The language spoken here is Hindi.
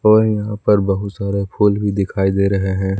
व यहां पर बहुत सारे फूल भी दिखाई दे रहे हैं।